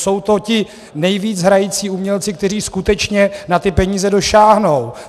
Jsou to ti nejvíc hrající umělci, kteří skutečně na ty peníze dosáhnou.